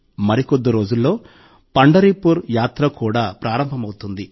మరికొద్ది రోజుల్లో పండరిపూర్ యాత్ర కూడా ప్రారంభమవుతుంది